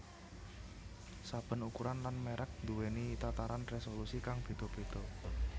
Saben ukuran lan mèrek duwèni tataran résolusi kang béda béda